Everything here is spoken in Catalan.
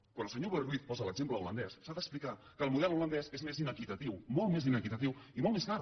quan el senyor boi ruiz posa l’exemple holandès s’ha d’explicar que el model holandès és més inequitatiu molt més inequitatiu i molt més car